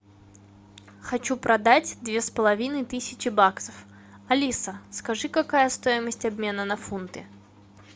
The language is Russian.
хочу продать две с половиной тысячи баксов алиса скажи какая стоимость обмена на фунты